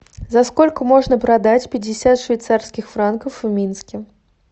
за сколько можно продать пятьдесят швейцарских франков в минске